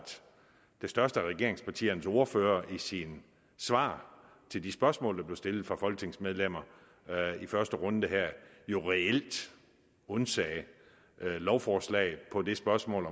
det største af regeringspartiernes ordfører i sit svar til de spørgsmål der blev stillet fra folketingets medlemmer i første runde her jo reelt undsagde lovforslaget på det spørgsmål